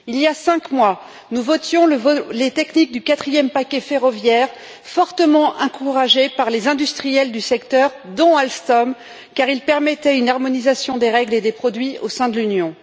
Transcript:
Il y a cinq mois, nous votions les techniques du quatrième paquet ferroviaire, fortement encouragés par les industriels du secteur, dont Alstom, car il permettait une harmonisation des règles et des produits au sein de l'Union.